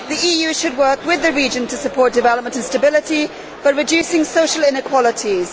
The EU should work with the region to support development and stability by reducing social inequalities.